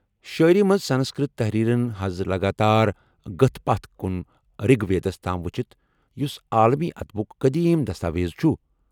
شٲعری منز سنسکرت تحریرن حض لگاتار گٕتھ پتھ كُن رِگ ویدس تام وُچھِتھ ، یُس عالمی ادبُك قدیم دستاویز چُھ ۔